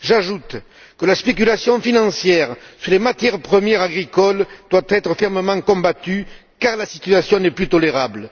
J'ajoute que la spéculation financière sur les matières premières agricoles doit être fermement combattue, car la situation n'est plus tolérable.